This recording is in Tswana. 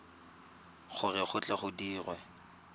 gore go tle go dirwe